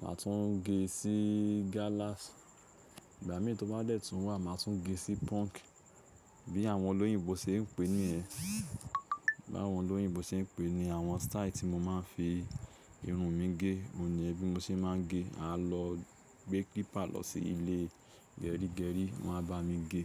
màá tún gé sí gállàs. Ìgbà mìíràn tó bá dẹ̀ tún wà, màá tún gé sí punk bí àwọn olóyìnbo ṣe ń pè niyén. Bi àwọn olóyìnbó ṣe ń pè ni àwọn style tí mo máa ń fi irun mi gé. Ó niyen. Bí mo ṣe máa ń gé. A lọ gbé clipper lọ sí ilé gerígerí, wọ́n á bá mi gé.